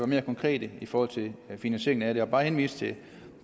mere konkret i forhold til finansieringen af det end bare at henvise